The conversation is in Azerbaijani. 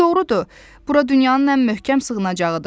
Doğrudur, bura dünyanın ən möhkəm sığınacağıdır.